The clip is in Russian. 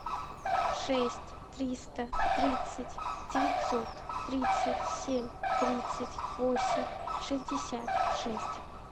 шесть триста тридцать девятьсот тридцать семь тридцать восемь шестьдесят шесть